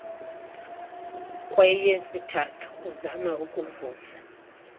kweyesithathu uzame ukuvusa